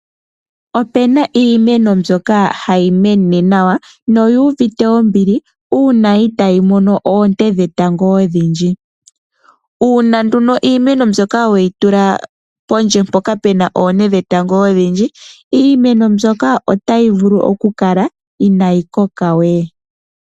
Ope na iimeno mbyoka hayi mene nawa noyi uvite ombili uuna itaayi mono oonte dhetango odhindji. Uuna iimeno mbyoka we yi tula pondje mpoka pu na oonte dhetango odhindji, iimeno mbyoka otayi vulu okukala inaayi koka we.